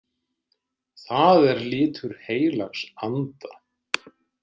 Það er litur heilags anda.